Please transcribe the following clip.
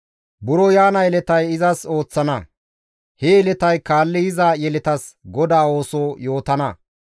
Buro yaana yeletay izas ooththana; he yeletay kaalli yiza yeletas Godaa ooso yootana.